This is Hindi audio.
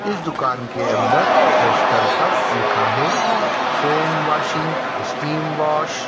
इस दुकान के अंदर पोस्टर पर लिखा है फोमवॉशिंग स्टीमवॉश --